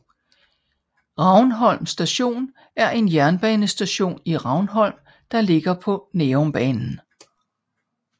Ravnholm Station er en jernbanestation i Ravnholm der ligger på Nærumbanen